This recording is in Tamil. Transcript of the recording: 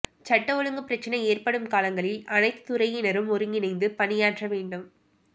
சட்டம் ஒழுங்கு பிரச்னை ஏற்படும் காலங்களில் அனைத்துத் துறையினரும் ஒருங்கிணைந்து பணியாற்ற வேண்டும்